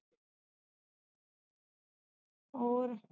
ਹੋਰ